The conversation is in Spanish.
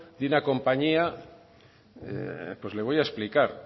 de una compañía pues le voy a explicar